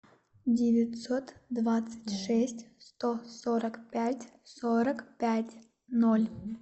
девятьсот двадцать шесть сто сорок пять сорок пять ноль